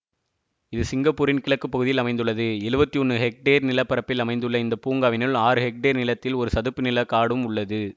இது சிங்கப்பூரின் கிழக்கு பகுதியில் அமைந்துள்ளது எழுவத்தி ஒன்று ஹெக்டேர் நிலப்பரப்பில் அமைந்து உள்ள இந்த பூங்காவினுள் ஆறு ஹெக்டேர் நிலத்தில் ஒரு சதுப்பு நில காடும் உள்ளது